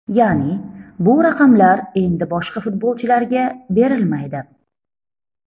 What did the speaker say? Ya’ni, bu raqamlar endi boshqa futbolchilarga berilmaydi.